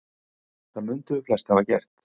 Það mundum við flest hafa gert.